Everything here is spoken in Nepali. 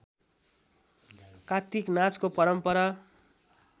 कार्तिक नाचको परम्परा